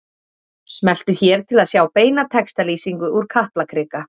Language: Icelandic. Smelltu hér til að sjá beina textalýsingu úr Kaplakrika